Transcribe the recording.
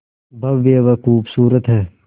भव्य व खूबसूरत है